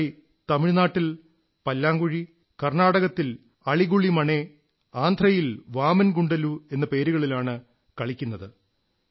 ഈ കളി തമിഴ്നാട്ടിൽ പല്ലാങ്കുഴി കർണ്ണാടകത്തിൽ അളിഗുളിമണേ ആന്ധ്രയിൽ വാമൻ ഗുണ്ടലു എന്നീ പേരുകളിലാണ് കളിക്കപ്പെടുന്നത്